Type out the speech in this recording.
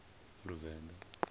luvenḓa